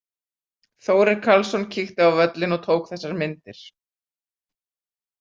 Þórir Karlsson kíkti á völlinn og tók þessar myndir.